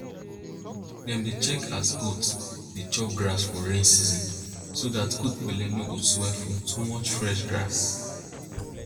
dem dey check as goat dey chop grass for rain season so dat goat belle no go swell from too much fresh grass